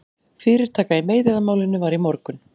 Fyrirtaka í meiðyrðamálinu var í morgun